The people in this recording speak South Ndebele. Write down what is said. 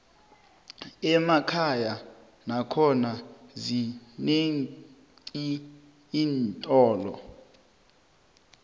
emakhaya nakhona zinenqi iintolo